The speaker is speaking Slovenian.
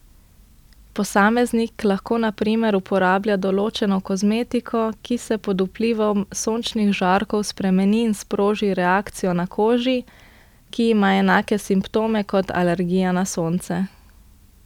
Posameznik lahko na primer uporablja določeno kozmetiko, ki se pod vplivom sončnih žarkov spremeni in sproži reakcijo na koži, ki ima enake simptome kot alergija na sonce.